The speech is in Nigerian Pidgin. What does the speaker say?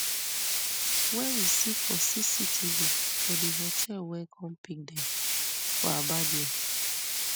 wey we see for cctv for di hotel wey come pick dem for aba dia